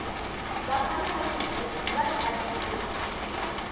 vafana va swigubu va chachula